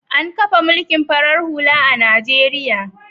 An kafa mulkin farar hula a Najeriya.